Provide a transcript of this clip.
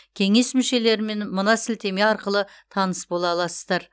кеңес мүшелерімен мына сілтеме арқылы таныс бола аласыздар